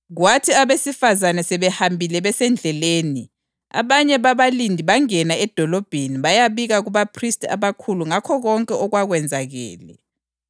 Kwathi abesifazane sebehambile besendleleni, abanye babalindi bangena edolobheni bayabika kubaphristi abakhulu ngakho konke okwakwenzakele.